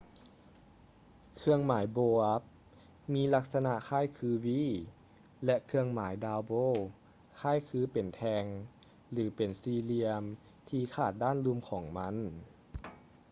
ເຄື່ອງໝາຍ bow up” ມີລັກສະນະຄ້າຍຄື v ແລະ ເຄື່ອງໝາຍ down bow” ຄ້າຍຄືເປັນແທ່ງ ຫຼື ເປັນສີ່ຫລ່ຽມທີ່ຂາດດ້ານລຸ່ມຂອງມັນ